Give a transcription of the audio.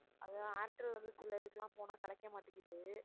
அதான் ஏர்டெல் வந்து சில இதுக்கெல்லாம் போனா கிடைக்க மாட்டேங்குது